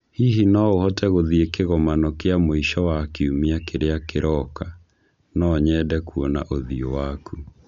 Hihi no ũhote gũthiĩ kĩgomano kĩa mũico wa kiumia kĩrĩa kĩroka? No nyende kuona ũthiũ waku